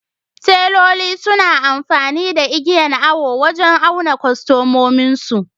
Teloli suna amfani igiyan awo wajan auna kwastomominsu